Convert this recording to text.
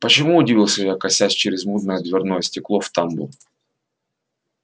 почему удивился я косясь через мутное дверное стекло в тамбур